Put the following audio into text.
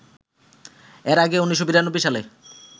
এর আগে ১৯৯২ সালে